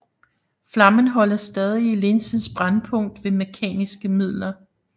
Flammen holdes stadig i linsens brændpunkt ved mekaniske midler